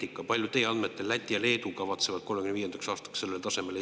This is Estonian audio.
Millisele tasemele teie andmetel kavatsevad Läti ja Leedu 2035. aastaks jõuda?